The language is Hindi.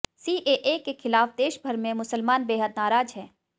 सीएए के खिलाफ देशभर के मुसलमान बेहद नाराज हैं